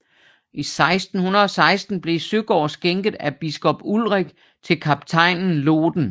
I 1616 blev Søgaard skænket af biskop Ulrik til kaptajnen Lohden